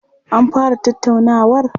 An fara tattaunawar?